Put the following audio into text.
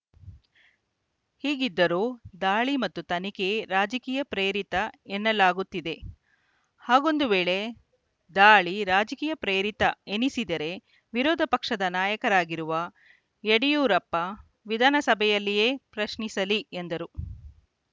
ಹೀಗಿದ್ದರೂ ದಾಳಿ ಮತ್ತು ತನಿಖೆ ರಾಜಕೀಯ ಪ್ರೇರಿತ ಎನ್ನಲಾಗುತ್ತಿದೆ ಹಾಗೊಂದು ವೇಳೆ ದಾಳಿ ರಾಜಕೀಯ ಪ್ರೇರಿತ ಎನಿಸಿದರೆ ವಿರೋಧ ಪಕ್ಷ ನಾಯಕರಾಗಿರುವ ಯಡಿಯೂರಪ್ಪ ವಿಧಾನಸಭೆಯಲ್ಲಿಯೇ ಪ್ರಶ್ನಿಸಲಿ ಎಂದರು